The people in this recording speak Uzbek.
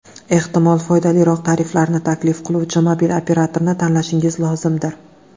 Ehtimol, foydaliroq tariflarni taklif qiluvchi mobil operatorini tanlashingiz lozimdir.